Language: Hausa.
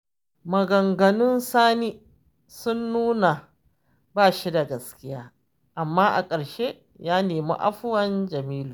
Maganganun Sani sun nuna ba shi da gaskiya, amma a ƙarshe ya nemi afuwar Jamilu